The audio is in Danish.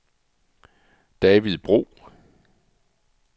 David Bro